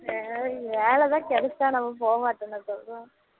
இல்ல வேலை தான் கேடச்சா நம்ம போக மாட்டோம்மா சொல்லுறோம்